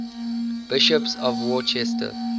bishops of worcester